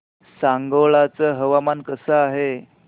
सांगोळा चं हवामान कसं आहे